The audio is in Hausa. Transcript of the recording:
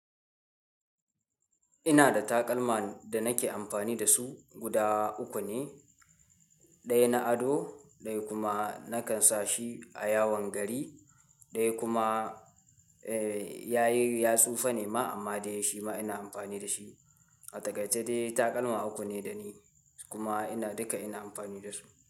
Ina da takalma da nake amfani da su guda uku ne. Ɗaya na ado, ɗaya kuma nakan sa shi a yawon gari, ɗaya kuma, eh, yayi ya tsufa nema amma dai shima ina amfani da shi. A taƙaice dai takalma uku ne da ni kuma ina duka ina amfani da su.